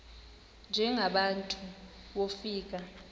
njengaba bantu wofika